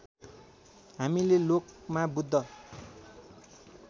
हामीले लोकमा बुद्ध